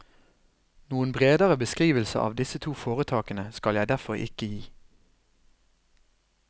Noen bredere beskrivelse av disse to foretakene skal jeg derfor ikke gi.